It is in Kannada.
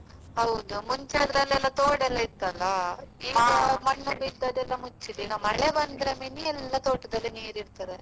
ಹೌದು ಮುಂಚೆ ಆದ್ರೆ ಅಲ್ಲಿ ಎಲ್ಲಾ ತೋಡು ಎಲ್ಲ ಇತ್ತಲ. ಮಣ್ಣು ಬಿದ್ದು ಅದೆಲ್ಲ ಮುಚ್ಚಿದೆ ಈಗ ಮಳೆ ಬಂದ್ರೆ ಮಿನಿ ಎಲ್ಲ ತೋಟದಲ್ಲಿ ನೀರ್ ಇರ್ತದೆ.